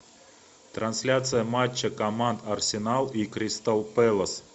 трансляция матча команд арсенал и кристал пэлас